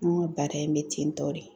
An ka baara in bɛ tentɔ de.